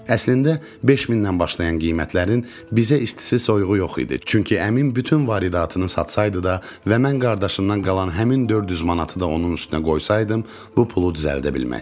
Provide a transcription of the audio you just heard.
Əslində 5000-dən başlayan qiymətlərin bizə isti-soyuğu yox idi, çünki əmim bütün varidatını satsaydı da və mən qardaşımdan qalan həmin 400 manatı da onun üstünə qoysaydım, bu pulu düzəldə bilməzdik.